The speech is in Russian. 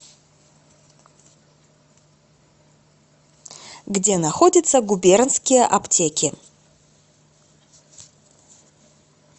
где находится губернские аптеки